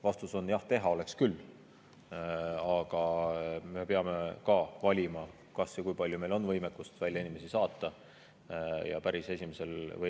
Vastus on jah, teha oleks küll, aga me peame valima, kas ja kui palju meil on võimekust inimesi välja saata.